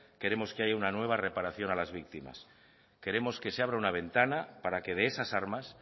queremos que haya una nueva reparación a las víctimas queremos que se abra una ventana para que de esas armas